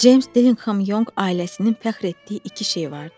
James Dillingham Young ailəsinin fəxr etdiyi iki şey vardı.